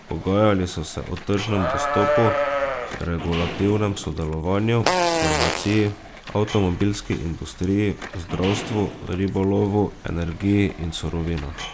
Pogajali so se o tržnem dostopu, regulativnem sodelovanju, farmaciji, avtomobilski industriji, zdravstvu, ribolovu, energiji in surovinah.